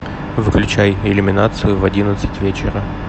выключай иллюминацию в одиннадцать вечера